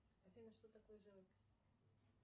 афина что такое живопись